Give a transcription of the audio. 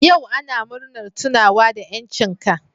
Yau ana murna tunawa da 'yancin ka.